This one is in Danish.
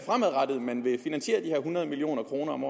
man fremadrettet vil finansiere de her hundrede million kroner om